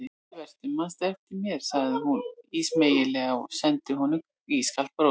Sæll vertu, mannstu ekki eftir mér sagði hún ísmeygilega og sendi honum ískalt bros.